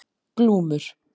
Glúmur